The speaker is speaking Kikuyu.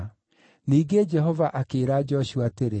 Ningĩ Jehova akĩĩra Joshua atĩrĩ,